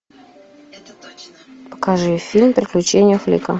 покажи фильм приключения флика